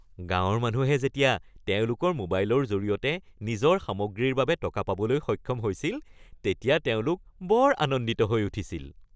গাঁৱৰ মানুহে যেতিয়া তেওঁলোকৰ মোবাইলৰ জৰিয়তে নিজৰ সামগ্ৰীৰ বাবে টকা পাবলৈ সক্ষম হৈছিল তেতিয়া তেওঁলোক বৰ আনন্দিত হৈ উঠিছিল।